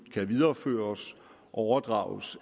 kan videreføres og overdrages